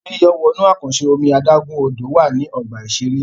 Ibi yíyọ̀ wọnú àkànṣe omi adágún-Odò wà ní ọgbà-ìṣeré